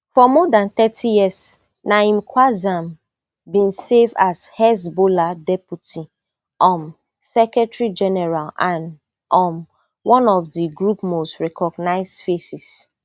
for more dan thirty years naim qassem bin serve as hezbollah deputy um secretary general and um one of di group most recognised faces